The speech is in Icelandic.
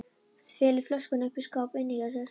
Felur flöskuna uppi í skáp inni hjá sér.